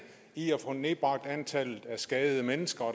i at få nedbragt antallet af skadede mennesker